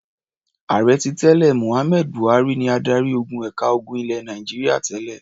Ààrẹ tí tẹ́lẹ̀ Mohammed Buhari ni adarí-ogun ẹ̀ka ogun ilẹ̀ Nàìjíríà tẹ́lẹ̀.